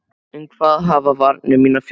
Um hvað hafa varnir mínar fjallað?